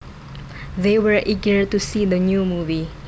They were eager to see the new movie